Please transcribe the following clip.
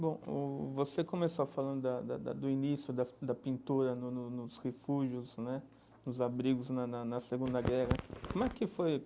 Bom o, você começou a falar da da da do início das da pintura no no nos refúgios né, nos abrigos na na na Segunda Guerra como é que foi.